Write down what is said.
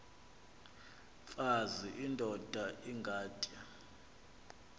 mfaz indod ingaty